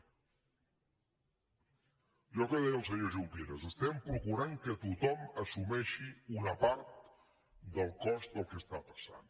allò que deia el senyor junqueras procurem que tothom assumeixi una part del cost del que passa